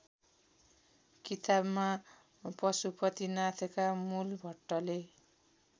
किताबमा पशुपतिनाथका मूलभट्टले